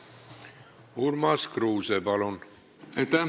Urmas Kruuse, palun!